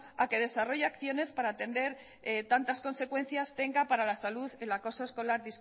a que desarrolle acciones para atender tantas consecuencias tenga para la salud el acoso escolar